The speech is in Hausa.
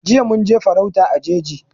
Jiya mun je farauta a jeji